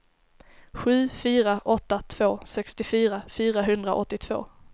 sju fyra åtta två sextiofyra fyrahundraåttiotvå